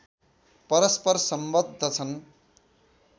परस्पर सम्बद्ध छन्